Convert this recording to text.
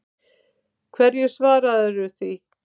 Hverju svaraðu því?